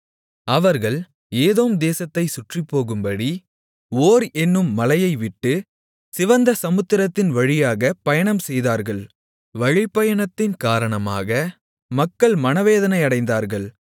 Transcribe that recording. அவர்கள் ஏதோம் தேசத்தைச் சுற்றிப்போகும்படி ஓர் என்னும் மலையைவிட்டு சிவந்த சமுத்திரத்தின் வழியாகப் பயணம்செய்தார்கள் வழிப்பயணத்தின் காரணமாக மக்கள் மனவேதனையடைந்தார்கள்